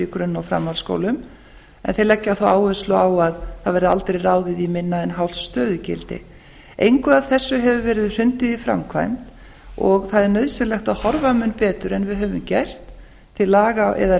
í grunn og framhaldsskólum en þeir leggja þá áherslu á að það verði aldrei ráðið í minna en hálft stöðugildi engu af þessu hefur verið hrundið í framkvæmd og það er nauðsynlegt að horfa mun betur en við höfum gert til laga eða